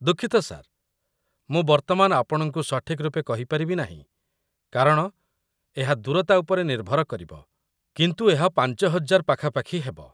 ଦୁଃଖିତ ସାର୍, ମୁଁ ବର୍ତ୍ତମାନ ଆପଣଙ୍କୁ ସଠିକ୍‌ ରୂପେ କହି ପାରିବି ନାହିଁ କାରଣ ଏହା ଦୂରତା ଉପରେ ନିର୍ଭର କରିବ, କିନ୍ତୁ ଏହା ୫୦୦୦ ପାଖାପାଖି ହେବ।